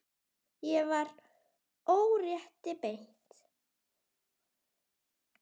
Ég var órétti beitt.